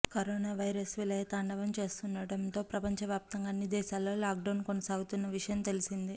corona virus విలయతాండవం చేస్తుండటంతో ప్రపంచ వ్యాప్తంగా అన్ని దేశాలలో లాక్డౌన్ కొనసాగుతున్న విషయం తెలిసిందే